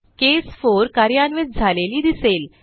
केस 4 कार्यान्वित झालेली दिसेल